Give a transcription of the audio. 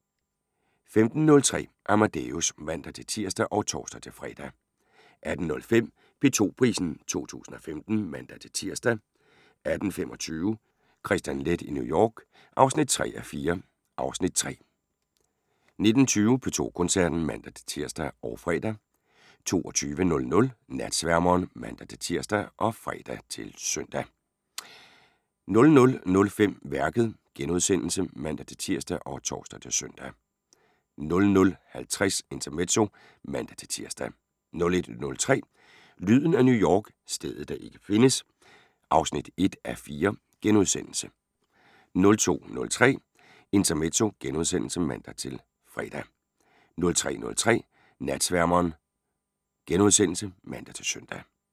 15:03: Amadeus (man-tir og tor-fre) 18:05: P2 Prisen 2015 (man-tir) 18:25: Kristian Leth i New York (3:4) (Afs. 3) 19:20: P2 Koncerten (man-tir og fre) 22:00: Natsværmeren ( man-tir, fre, -søn) 00:05: Værket *(man-tir og tor-søn) 00:50: Intermezzo (man-tir) 01:03: Lyden af New York - stedet, der ikke findes (1:4)* 02:03: Intermezzo *(man-fre) 03:03: Natsværmeren *(man-søn)